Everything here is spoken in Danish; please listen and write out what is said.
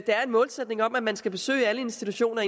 der er en målsætning om at man skal besøge alle institutioner